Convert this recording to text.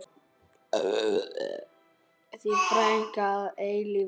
Þín frænka að eilífu.